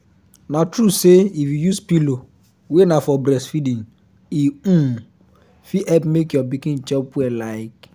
na true say if you use pillow wey na for breastfeeding e um fit help make your pikin chop well like